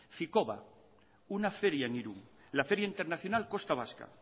ficoba una feria en irun la feria internacional costa vasca